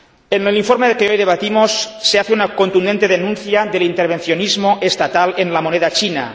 En el informe que hoy debatimos se hace una contundente denuncia del intervencionismo estatal en la moneda china.